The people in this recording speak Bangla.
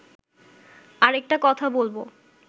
আরেকটা কথা বলব